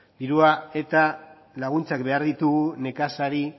dirua eta laguntzak behar ditugu nekazari